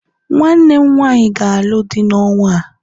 nwanne m nwanyi ga-alụ di n'ọnwa a